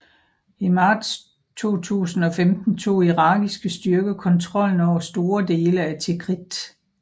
I marts 2015 tog irakiske styrker kontrollen over store dele af Tikrit